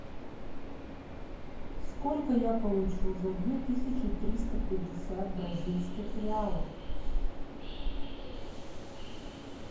сколько я получу за две тысячи триста пятьдесят бразильских реалов